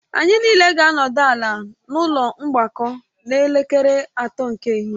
Anyị niile ga-anọdị ala n'ụlọ mgbakọ n'elekere atọ nke ehihie